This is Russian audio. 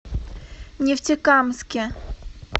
нефтекамске